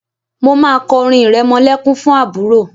Mo máa kọ orin ìrẹmọlẹ́kún fún àbúrò.